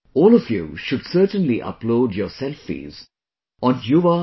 All of you should certainly upload your selfies on yuva